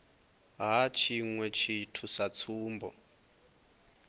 ha tshiṅwe tshithu sa tsumbo